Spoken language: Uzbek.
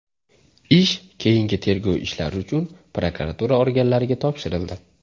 Ish keyingi tergov ishlari uchun prokuratura organlariga topshirildi.